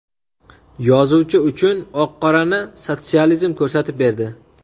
yozuvchi uchun oq-qorani sotsializm ko‘rsatib berdi.